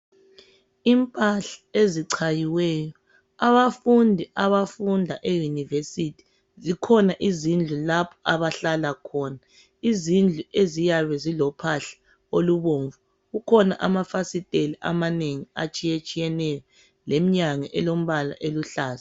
Impahla ezichayiweyo abafundi abafunda eyunivesithi zikhona izindlu lapho abahlala khona izindlu eziyabe zilophahla olubomvu kukhona amafasitela amanengi atshiyetshiyeneyo leminyango elombala oluhlaza.